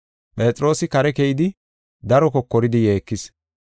Phexroosi kare keyidi daro kokoridi yeekis.